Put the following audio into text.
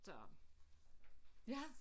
Så ja